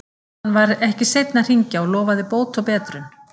Hann var ekki seinn að hringja og lofaði bót og betrun.